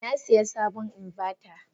Nasiya sabon inverter.